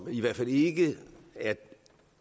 i hvert fald ikke er